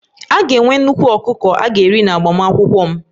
A ga-enwe nnukwu ọkụkọ a ga-eri n'agbamakwụkwọ m